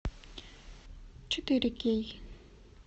четыре кей